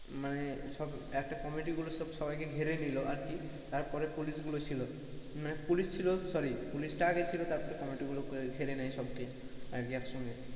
মানে সব একটা committee গুলো সব সবাইকে ঘেরে নিলো আর কি তারপরে পুলিশগুলো ছিল, পুলিশ ছিল sorry পুলিশ টা আগে ছিল তারপরে committee গুলো ঘেরে নেয় সবকে আগে একসঙ্গে,